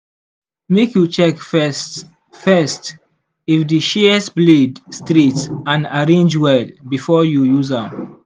make you check first first if di shears blade straight and arrange well before you use am.